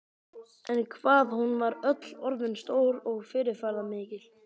En hvað hún var öll orðin stór og fyrirferðarmikil.